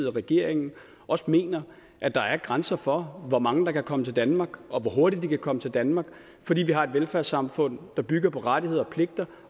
og regeringen også mener at der er grænser for hvor mange der kan komme til danmark og hvor hurtigt de kan komme til danmark fordi vi har et velfærdssamfund der bygger på rettigheder og pligter